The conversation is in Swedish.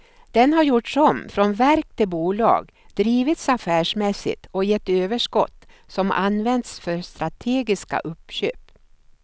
Det har gjorts om från verk till bolag, drivits affärsmässigt och gett överskott som använts för strategiska uppköp.